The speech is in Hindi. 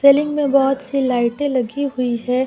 सीलिंग में बहुत सी लाइटें लगी हुई है ।